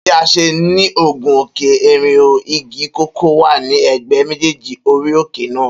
Bi a ṣe ni gun òkè èrìnhò, Igi kòkó wà ní ègbé méjèèjì orí òkè náà